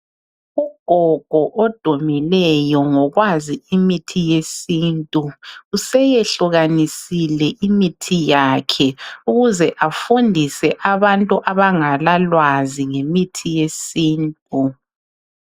Ugogo odumileyo ngokwazi imithi yesintu useyehlukanisile imithi yakhe ukuze afundise abantu abangalalwazi ngemithi yesintu.